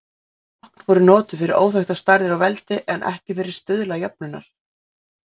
Tákn voru notuð fyrir óþekktar stærðir og veldi en ekki fyrir stuðla jöfnunnar.